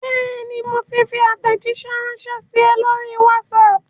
Bẹ́ẹ̀ni, mo ti fi àtẹ̀jíṣé ránsẹ́ sí ẹ lórí WhatsApp